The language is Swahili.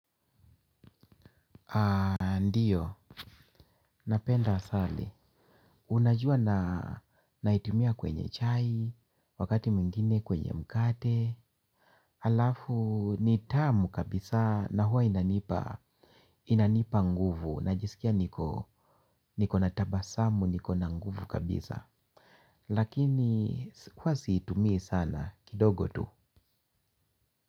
Ndiyo, napenda asali, unajua naitumia kwenye chai, wakati mwingine kwenye mkate alafu, nitamu kabisa na huwa inanipa nguvu, najisikia niko natabasamu, niko na nguvu kabisa lakini, huwa siitumii sana, kidogo tu.